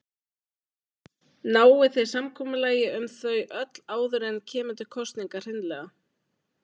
Náið þið samkomulagi um þau öll áður en kemur til kosninga hreinlega?